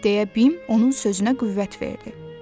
deyə Bim onun sözünə qüvvət verdi.